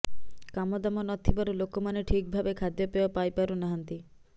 କାମଦାମ ନଥିବାରୁ ଲୋକମାନେ ଠିକ ଭାବେ ଖାଦ୍ୟପେୟ ପାଇପାରୁ ନାହାନ୍ତି